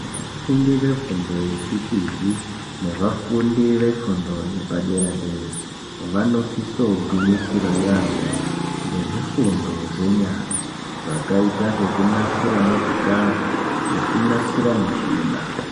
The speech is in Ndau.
Vafundi vefundo yechipori nevafundi yefundo yepadera dera, vanosisa kugwinyisira yaamho ngezvifundo zvenyara zvakaita sekunasira motikari nekunasira muchina.